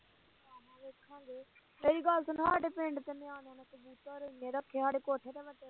ਮੇਰੀ ਗੱਲ ਸੁਣੋ